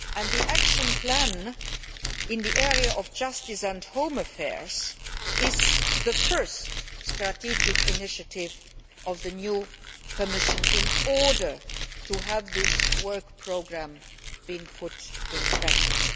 The action plan in the area of justice and home affairs is the first strategic initiative of the new Commission in order to put this work programme into practice